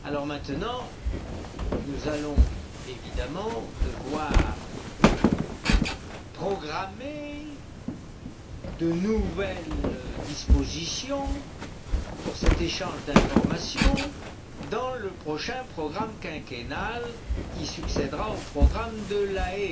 Maintenant nous allons évidemment devoir programmer de nouvelles dispositions pour cet échange d'informations dans le prochain programme quinquennal qui succèdera au programme de La Haye.